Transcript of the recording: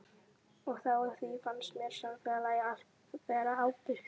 Og á því fannst mér samfélagið allt bera ábyrgð.